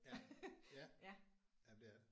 Ja ja jamen det er det